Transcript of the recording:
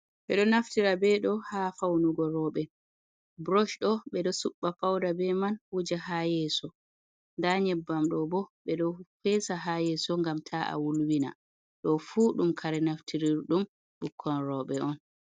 Ɓe ɗo naftira be ɗo ha faw nugo roɓe. Brosh ɗo ɓe ɗo suɓɓa fawda be man wuja ha yeso. Nda nyebbamɗo bo ɓe ɗo fesa ha yeso ngam ta a wulwina. Do fu ɗum kare naftirirɗum bukkon roɓe on.